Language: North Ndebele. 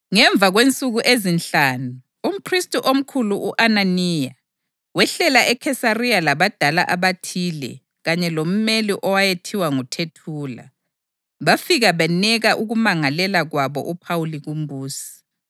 Ngemva kwensuku ezinhlanu umphristi omkhulu u-Ananiya wehlela eKhesariya labadala abathile kanye lomeli owayethiwa nguThethula, bafika beneka ukumangalela kwabo uPhawuli kumbusi.